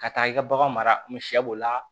Ka taa i ka bagan mara b'o la